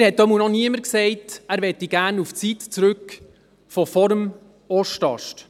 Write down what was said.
Mir hat auf jeden Fall noch niemand gesagt, er möchte gerne in die Zeit vor dem Ostast zurückkehren.